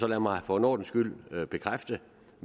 lad mig for en ordens skyld bekræfte